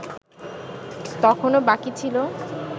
তখনো বাকি ছিল